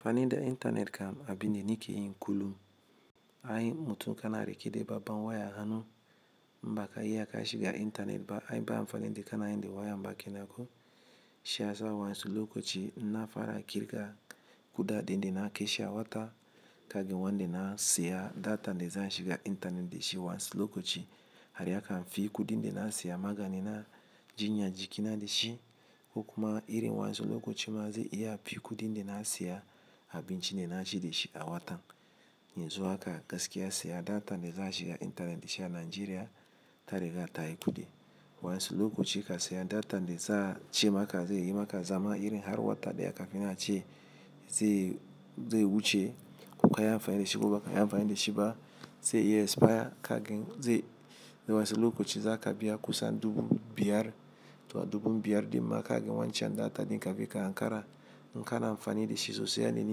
Amfani da intanet kam abin da nake yin kullum. Ai mutum kana reke de babban waya a hannu, im baka iya ka shiga intanet ba. Ai ba amfanin de kanayin da wayam ba kenan ko. Shi yasa wayansu lokaci inna fara kirga kuɗaɗen de na keshe a wata, kagen wanda na siya datan de zan shiga intanet de shi wans-- lokaci. Har yakan fi kuɗin de na siya magani na jinyan jiƙina de shi, ko kuma irin wayansu lokaci ma zai iya fi kuɗin da na siya abincin de na ci ajiye de shi a watan. Yanzu haka gaskiya siya data de za a shiga intanet shi a Najeriya ta riga tayi kudi. Wayansu lokoci ka siya datan de za a ce maka, zai yi maka zama irin har wata daya ka finna a ce, zai, zai wuce ko ka yi amfani da shi ko baka yi amfani da shi ba. Zai iya expire kagin zai, zai wansu lokoci za ka biya kusan dubu biyar, toh dubu biyar dimma kagan wancan data din kafin ka hankara. In kana amfani da shi sosai yadda ni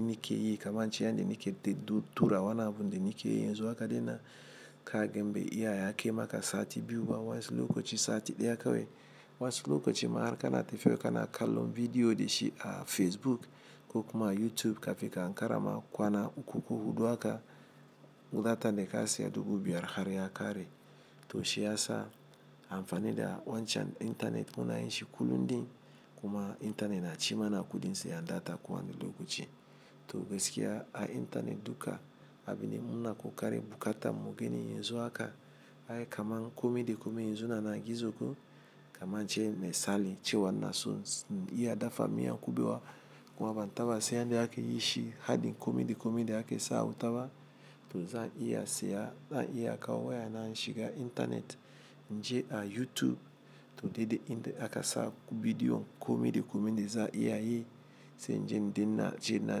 nike yi, kamar in ce yanda nike de--du tura wani abun da nake yi. Yanzu haka dinnan kagan be iya ya kai maka sati biyu ba wansi lokaci sati ɗaya kawai. Wansu lokaci ma har kana tefiya kana kallon vidiyo de shi a Facebook ko kuma a YouTube kafin ka hankara ma kwana uku ko hudu haka. Datan de ka siya dubu biyar har ya kare. Toh shi yasa amfani da wancan intanet muna yin shi kullum din. Kuma intanet na ci mana kuɗin siyan data kowani lokaci. Toh gaskiya a intanet duka abin da muna kokarin bukatan mu geni yanzu haka. Ai kamar kome de komai yanzu na na gizo ko, kaman ince mesali cewa inason in iya dafa miyan kubewa. Kuma ban taba se yanda ake yin shi, hadin kome de kome de ake sawa a wuta ba. Toh zan iya siya, zan iya kawo wayana in shiga intanet inje a YouTube. Toh deɗe inde aka sa bidiyon kome de komen de za'a iya yi. Sai in je in denna je na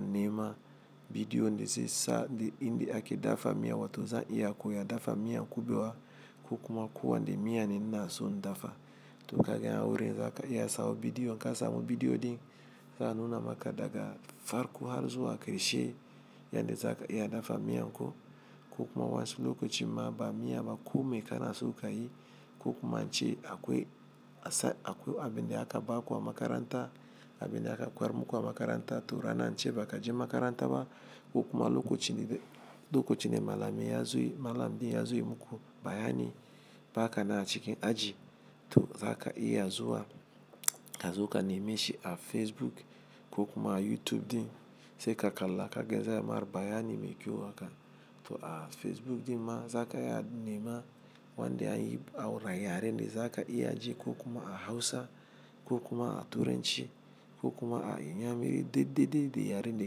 nema bidiyon de zai sa de inde ake dafa miya. Toh zan iya koya dafa miyan kubewa ko kuma kowande miya ne ina son dafa. Toh kagain a wurin za ka iya sawo bidiyo, in ka samu bidiyo din za'a nuna maka daga farko har zuwa karshe yanda za ka iya dafa miyan ko. Ko kuma wansu lokoci ma ba miya ba kome kana so ka yi. Ko kuma in ce akwai asa-- akwai abin de aka baku a makaranta, abin da aka koyarmuku a makaranta toh rana in ce baka je makaranta ba. Ko kuma lokocin ne de-- lokocin ne malami ya zo y--, malam din ya zo ya muku bayani ba ka nan a cikin aji. Toh za ka iya zuwa, ka zo ka nemi shi a Facebook ko kuma a YouTube din. Sai ka kalla ka gan za'ayi mar bayani me kyo haka. Toh a Facebook din ma za ka iya nema wanda an yi aura yaren de za ka iya ji ko kuma a Hausa ko kuma a Turanci ko kuma a Inyamiri. Deɗeɗe de yaren de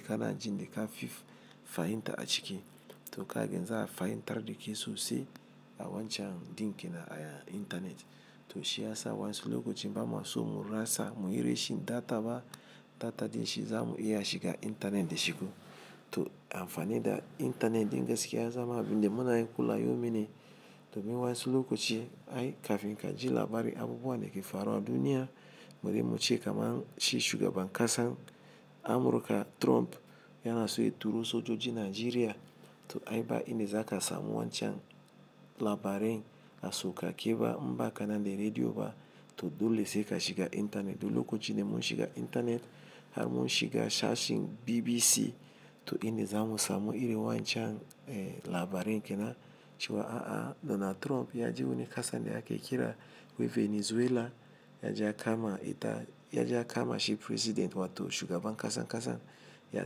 ka na jin de ka fif fahimta a cike. Toh kagen za'a fahimtar da ke sosai a wancan dinkin na aya intanet. Toh shi yasa wa'ansu lokoci ba mu so mu rasa, mu yi rashin data ba. Data din shi za mu iya shiga intanet da shi ko. Toh amfani da intanet din gaskiya ya zama abin de muna yi kulayomi ne. Domin wayansu lokoci ai kafin ka ji labari abubuwan da ke faruwa a duniya. Bari mu ce kaman shi shugaban ƙasan Amurka Trump yana so ya turo sojoji Najeriya. Toh ai ba inde za ka samu wancan labaren a sokake ba, imbaka nan de rediyo ba. Toh dole sai ka shiga intanet. Toh lokoci ne mun shiga intanet, har mun shiga sashin BBC. Toh inde za mu samu irin wayancan, eh labaren kenan cewa, "A'a Donald Trump ya je wani ƙasan de ake kira wai Venezuela ya je ya kama ita, ya je ya kama shi president wato shugaban ƙasan ƙasan ya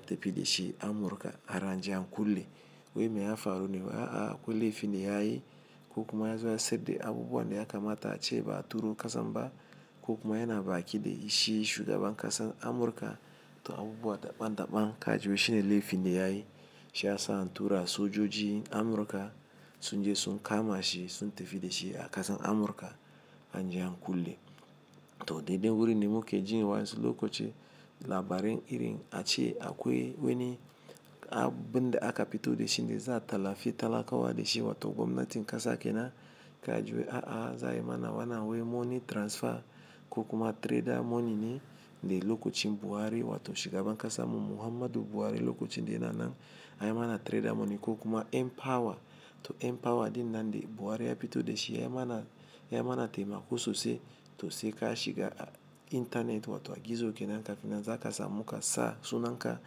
tafi da shi Amurka har an je an kule." Wai me ya faru ne? A'a akwai laifin da ya yi ko kuma ya zo ya sayad de abubuwan de ya kamata a ce ba a turo ƙasan ba. Ko kuma yana baƙi de yi shi shugaban ƙasan Amurka. Toh abubuwa daɓan daɓan ka ji wai shine laifin da ya yi. Shi yasa an tura sojoji Amurka sun je sun kama shi, sun tafi da shi a ƙasan Amurka an je an kule. Toh deɗe wurin ne mu ke jin wanyansu lokaci labarin iri a ce akwai wani abun da aka pito de shin de za a talifi talakawa da shi wato gwamnatin ƙasa ke nan. Ka ji wai a'a za ayi mana wannan wai money transfer ko kuma trader money ne. De lokacin Buhari wato shugaban ƙasanmu Muhammadu Buhari lokacin de yana nan. Anyi mana trader money ko kuma Npower. Toh Npower din nan de Buhari ya pito de shi yayi mana, yayi mana taimako sosai. Toh sai ka shiga a intanet wato a gizo kenan kafinnan za ka samu ka sa sunan ka.